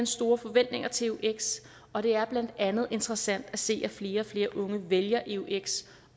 store forventninger til eux og det er blandt andet interessant at se at flere og flere unge vælger eux